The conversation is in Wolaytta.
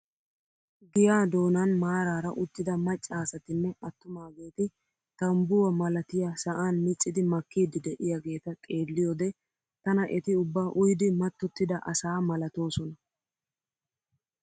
Giyaa donan maarara uttida macca asatinne attumaageti tanbbuwaa malatiyaa sa'an miccidi makkiidi de'iyaageta xeelliyoode tana eti ubba uyidi mattotida asa malatoosona.